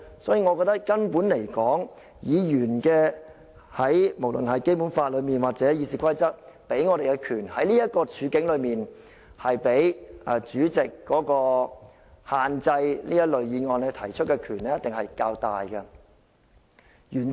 所以，從根本而言，我認為無論《基本法》或《議事規則》賦予議員的權力，在這個處境下，原則上一定是比主席限制這類議案提出的權力較大的。